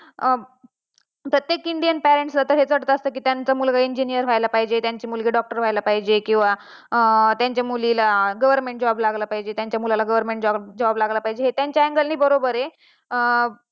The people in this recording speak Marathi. अं प्रत्येक इंडियन parents ला हेच वाटत असता कि त्यांचा मुलगा engineer व्हायला पाहिजे त्यांची मुलगी doctor व्हायला पाहिजे किंवा, त्यांची मुलीला government job लागला पाहिजे, त्यांच्या मुलाला government job लागला पाहिजे हे त्याच्या angle ने बरोबर आहे